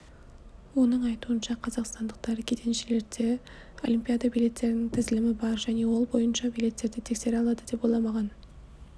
оның айтуынша қазақстандықтар кеденшілерде олимпиада билеттерінің тізілімі бар және ол бойынша билеттерді тексере алады деп ойламаған